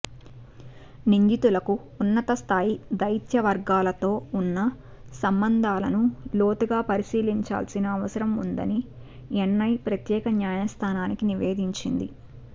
నిందితులకు ఉన్నతస్ధాయి దౌత్య వర్గాలతో ఉన్న సంబంధాలను లోతుగా పరిశీలించాల్సిన అవసరం ఉందని ఎన్ఐ ప్రత్యేక న్యాయస్దానానికి నివేదించింది